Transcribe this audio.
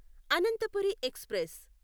Ananthapuri express